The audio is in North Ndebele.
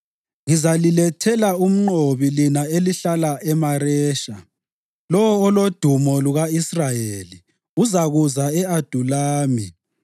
Ngizalilethela umnqobi lina elihlala eMaresha. Lowo olodumo luka-Israyeli uzakuza e-Adulami.